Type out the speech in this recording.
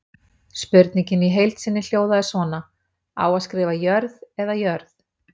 Spurningin í heild sinni hljóðaði svona: Á að skrifa Jörð eða jörð?